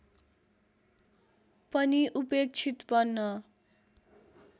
पनि उपेक्षित बन्न